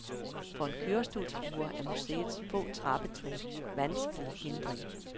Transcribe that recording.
For en kørestolsbruger er museets få trappetrin en vanskelig hindring.